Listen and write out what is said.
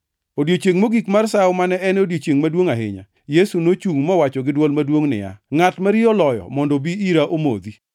Odiechiengʼ mogik mar Sawo, mane en odiechiengʼ maduongʼ ahinya, Yesu nochungʼ mowacho gi dwol maduongʼ niya, “Ngʼat ma riyo oloyo mondo obi ira omodhi.